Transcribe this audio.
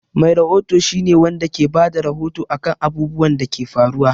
Mai rahoto shi ne Wanda ke Bada rahoto akan abubwan Dake faruwa